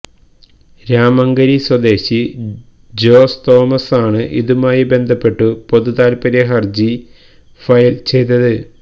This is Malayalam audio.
രാമങ്കരി സ്വദേശി ജോസ് തോമസാണ് ഇതുമായി ബന്ധപ്പെട്ടു പൊതുതാൽപര്യ ഹർജി ഫയൽ ചെയ്തത്